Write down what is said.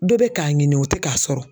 Dɔ bɛ k'a ɲini o tɛ k'a sɔrɔ